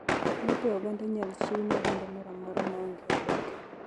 Lope oganda inayl lchiw ne oganada mora amora maonge oboke.